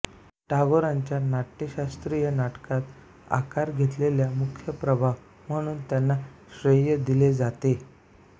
टागोरांच्या नाट्यशास्त्रीय नाटकात आकार घेतलेला मुख्य प्रभाव म्हणून त्यांना श्रेय दिले जाते